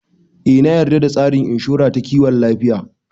Eh na yarda da tsarin inshora ta kiwon lafiya